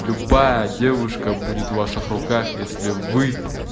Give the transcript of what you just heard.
любая девушка будет в ваших руках если вы